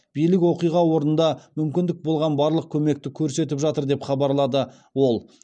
билік оқиға орнында мүмкін болған барлық көмекті көрсетіп жатыр деп хабарлады ол